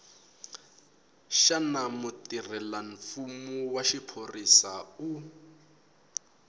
xana mutirhelamfumo wa xiphorisa u